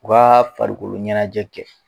U ka farikoloɲɛnajɛ kɛ